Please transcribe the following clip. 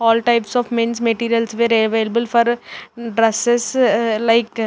all types of mens materials where available for dresses like--